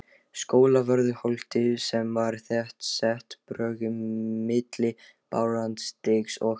Skólavörðuholti sem var þéttsett bröggum milli Barónsstígs og